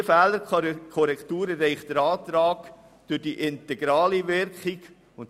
Diese Fehlerkorrektur erreicht der Antrag durch seine integrale Wirkung.